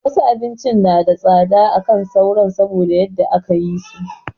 Wasu abincin suna da tsada akan sauran saboda yadda aka yi so